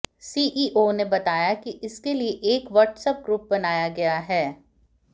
CEO ने बताया कि इसके लिए एक वट्सऐप ग्रुप बनाया गया है